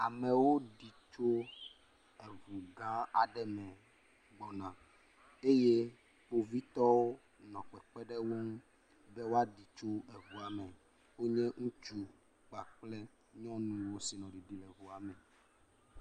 Amewo ɖi tso ŋu gã aɖe me gbɔna eye kpovitɔwo nɔ kpekpem ɖe wo ŋu be woaɖi tso ŋua me. Wonye ŋutsu kpakple nyɔnuwo si nɔ ɖiɖim le ŋua me.